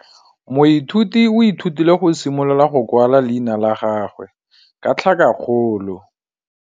Moithuti o ithutile go simolola go kwala leina la gagwe ka tlhakakgolo.